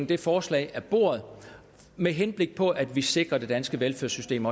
det forslag af bordet med henblik på at vi også sikrer det danske velfærdssystem